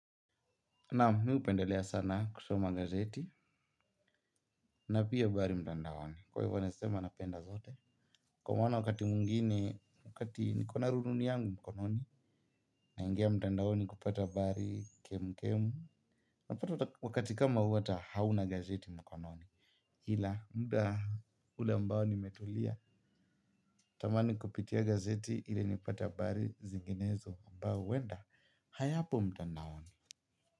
Nam, mi hupendelea sana kusoma gazeti na pia habari mtandaoni. Kwa hivyo naeza sema napenda zote. Kwa maana wakati mwingine, wakati niko na rununu yangu mkononi. Naingia mtandaoni kupata habari kemkemu. Napata wakati kama huu hata hauna gazeti mkononi. Ila, muda ambao nimetulia. Natamani kupitia gazeti ile nipata habari zinginezo ambayo huenda. Hayapo mtandaoni.